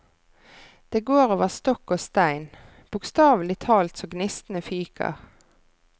Det går over stokk og stein, bokstavelig talt så gnistene fyker.